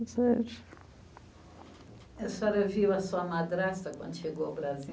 A senhora viu a sua madrasta quando chegou ao Brasil?